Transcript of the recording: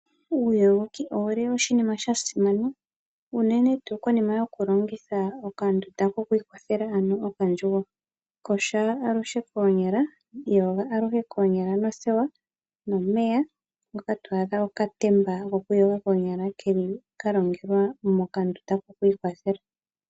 Uuyogoki ouli oshinima sha simana unene tuu konima yoku longitha okandunda kokwiikwathela ano okandjugo, kosha aluhe koonyala, iyoga aluhe koonyala nothewa nomeya ngoka to adha mokatemba gokwiiyoga koonyala keli kalongelwa mokandunda kokwiikwathela.